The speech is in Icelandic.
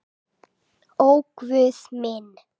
Ó Guð minn.